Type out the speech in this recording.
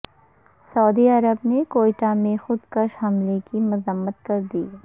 سعودی عرب نے کوئٹہ میں خود کش حملے کی مذمت کردی